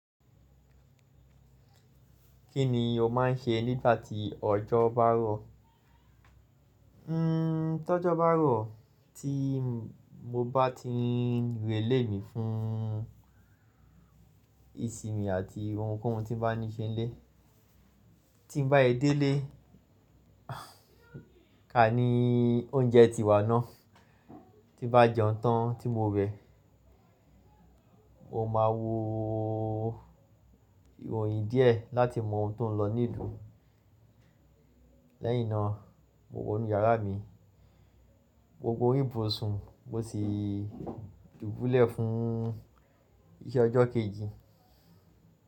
Kí ni o máà ń ṣe nígbà tí ọjọ́ bá rọ̀? Hmm, tí ọjọ́ bá rọ̀, tí mo bá ti ń relé mí fún ìsinmi àti ohunkóhun tí bá ní ṣe nílé. Tí n bá e dé ilé, ká ní oúnjẹ ti wà ná. Tí n bá jẹun tán tí mo wẹ, mo máa wo ìròyìn díẹ̀ láti mọ̀ ohun tó ń lọ nílùú. Lẹ́yìn náà, mo wọ inú yàrá mi. Mo gùn orí ibùsùn mo sì dùbúlẹ̀ fún iṣẹ́ ọjọ́ kejì.